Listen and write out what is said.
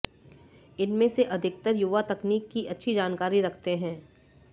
इनमें से अधिकतर युवा तकनीक की अच्छी जानकारी रखते हैं